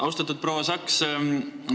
Austatud proua Saks!